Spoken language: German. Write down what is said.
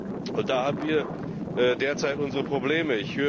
Und da haben wir derzeit unsere Probleme.